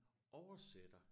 Oversætter